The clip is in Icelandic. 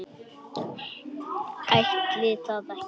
Ætli það ekki.